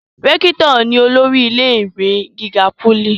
rẹ́kítọ̀ ni olórí ilé ìwé gíga pólì